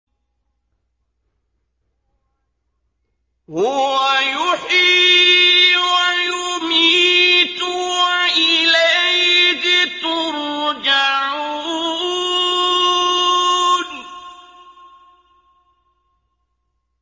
هُوَ يُحْيِي وَيُمِيتُ وَإِلَيْهِ تُرْجَعُونَ